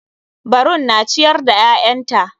Barun na ciyar da ƴaƴanta.